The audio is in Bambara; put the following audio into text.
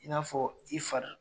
I n'a fɔ i fari